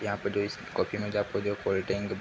यहाँ पे जो इस की कॉफी मिल जाती है जो कोल्ड ड्रिंक --